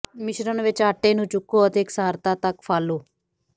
ਮਿਸ਼ਰਣ ਵਿੱਚ ਆਟੇ ਨੂੰ ਚੁਕੋ ਅਤੇ ਇਕਸਾਰਤਾ ਤੱਕ ਫਾਲੋ